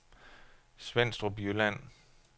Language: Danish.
Svenstrup Jylland